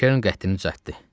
Kern qəddini üşəltdi.